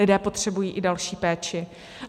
Lidé potřebují i další péči.